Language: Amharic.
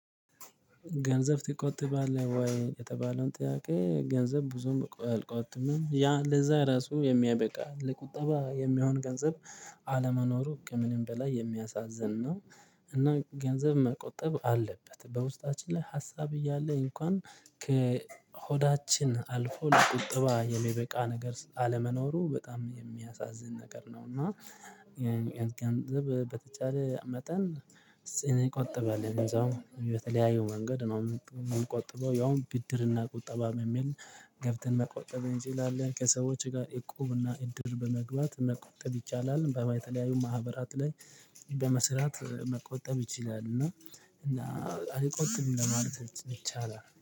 ገንዘብ ትቆጥባለህ ወይ? የተባለውን ጥያቄ ገንዘብ ብዙም አልቆጥምም ያ ለዛ ራሱ የሚያበቃ ለቁጠባ የሚሆን ገንዘብ አለመኖሩ ከምንም በላይ የሚያሳዝን ነው። እና ገንዘብ መቆጠብ አለበት በውስጣችን ላይ ሀሳብ እያለ እንኳን ከሆዳችን አልፎ ለቁጥባ የሚበቃ ነገር አለመኖሩ በጣም የሚያሳዝን ነገር ነው። እና የ ገንዘብ በተቻለ መጠን እስኪ እንቆጥባለን እዛው በተለያዩ መንገድ ነው የምቆጥበው ያውም ብድርና ቁጠባም የሚል ገብተን መቆጠብ እንችላለን፣ ከሰዎች ጋር እቁብና እድር በመግባት መቆጠብ ይቻላል። በማይ የተለያዩ ማህበራት ላይ በመስራት መቆጠብ ይችላል። እና አልቆጥም ለማለት ይቻላል